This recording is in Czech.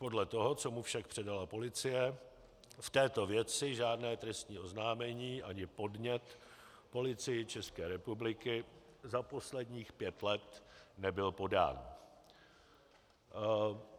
Podle toho, co mu však předala policie, v této věci žádné trestní oznámení ani podnět Policii České republiky za posledních pět let nebyl podán.